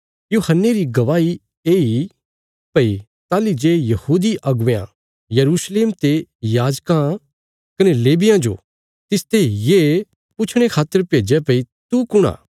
यूहन्ने री गवाही येई भई ताहली जे यहूदी अगुवेयां यरूशलेम ते याजकां कने लेवियां जो तिसते ये पुछणे खातर भेज्या भई तू कुण आ